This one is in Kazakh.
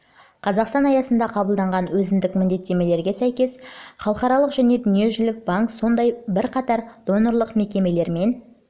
қазақстан аясында қабылданған өзіндік міндеттемелеріне сәйкес сияқты халықаралық және дүниежүзілік банк сондай-ақ бірқатар донорлық мекемелермен